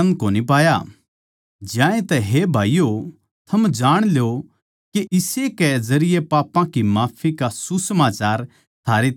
ज्यांतै हे भाईयो थम जाण ल्यो के इस्से के जरिये पापां की माफी का सुसमाचार थारै ताहीं दिया जावै सै